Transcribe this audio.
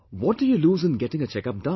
What do you lose in getting a checkup done